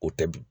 O tɛ bi